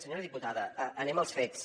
senyora diputada anem als fets